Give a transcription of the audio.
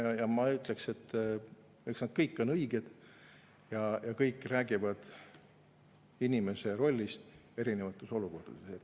Ma ütleks, et eks kõik ole õiged ja kõik nad räägivad inimese rollist erinevates olukordades.